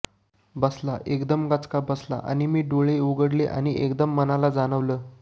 बसला एकदम गचका बसला आणि मी डोळे उघडले आणि एकदम मनाला जाणवलं